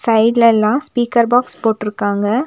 சைடுல எல்லா speaker box போட்ருக்காங்க.